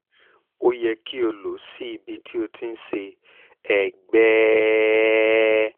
o yẹ kí o lo ó sí ibi tí o ti ń ṣe ẹ̀gbẹ́ẹ̀ẹ̀ẹ̀ẹ̀ẹ̀ẹ̀ẹ̀ẹ̀ẹ̀